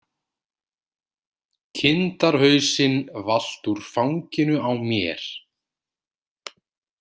Kindarhausinn valt úr fanginu á mér.